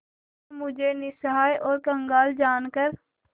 क्या मुझे निस्सहाय और कंगाल जानकर